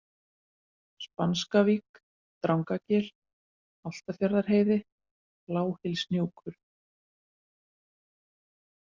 Spanskavík, Drangagil, Álftafjarðarheiði, Bláhylshnúkur